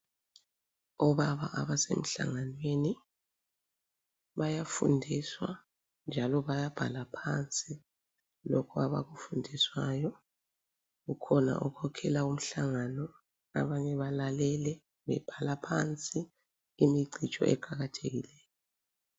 Obaba abasemhlanganweni bayafundiswa njalo bayabhala phansi lokhu abakufundiswayo. Kukhona okhokhela umhlangano abanye balalele bebhala phansi imicijo eqakathekileyo.